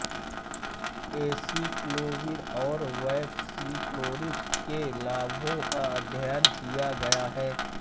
acyclovir और valacyclovir के लाभों का अध्ययन किया गया है